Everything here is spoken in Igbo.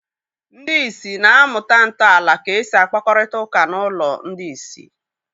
Ndị ìsì na-amụta ntọala ka esi akpakọrịta ụka n'ụlọ ndị ìsì.